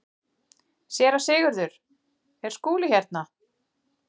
SÉRA SIGURÐUR: Er Skúli hérna?